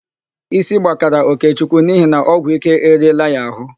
Ísí gbakara Okechukwu n'ihi na ọgwụike eriela ya àhụ́.